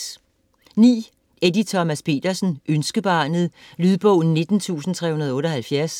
Petersen, Eddie Thomas: Ønskebarnet Lydbog 19378